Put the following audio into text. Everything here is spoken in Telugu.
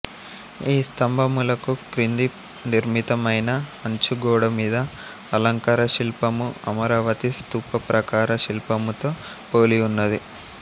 ఈ స్తంభములకు క్రింద నిర్మితమైన అంచుగోడమీద అలంకారశిల్పము అమరావతి స్తూపప్రాకార శిల్పముతో పోలియున్నది